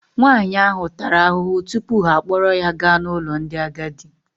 Nwaanyị ahụ tara ahụhụ tupu ha akpọrọ ya gaa n'ụlọ ndị agadi.